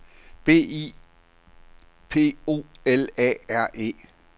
B I P O L A R E